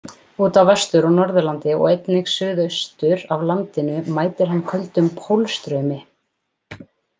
Út af Vestur- og Norðurlandi og einnig suðaustur af landinu mætir hann köldum pólstraumi.